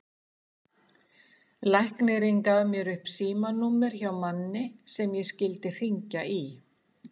Læknirinn gaf mér upp símanúmer hjá manni sem ég skyldi hringja í.